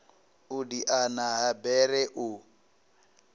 u diana ha bere u